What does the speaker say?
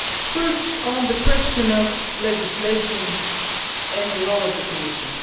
First, on the question of legislation and the role of the Commission.